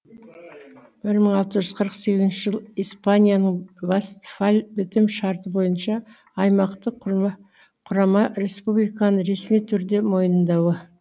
бір мың алты жүз қырық сегізінші жыл испанияның вастфаль бітім шарты бойынша аймақтық құрама республиканы ресми түрде мойындауы